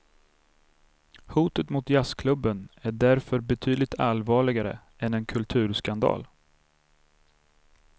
Hotet mot jazzklubben är därför betydligt allvarligare än en kulturskandal.